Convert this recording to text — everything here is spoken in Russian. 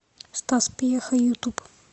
стас пьеха ютуб